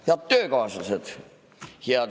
Head töökaaslased!